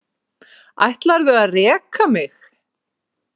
Ætlarðu að reka mig?